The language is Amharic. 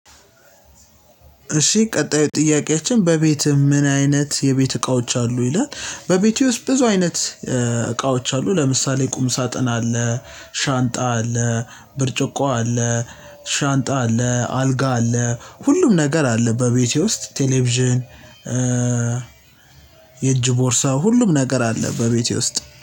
እሺ ቀጣዩ ጥያቄያችን በቤት ምን አይነት የቤት እቃዎች አሉ ይላል? በቤቴ ውስጥ ብዙ አይነት እቃዎች አሉ። ለምሳሌ ቁም ሳጥን አለ ሻንጣ አለ ብርጭቆ አለ ሻንጣ አለ አልጋ አለ ሁሉም ነገር አለ በቤቴ ውስጥ ቴሌቪዥን። የእጅ ቦርሳ ሁሉም ነገር አለ በቤቴ ውስጥ